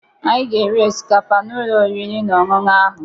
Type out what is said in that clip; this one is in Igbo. Anyị ga-eri osikapa n'ụlọ oriri na ọṅụṅụ ahụ.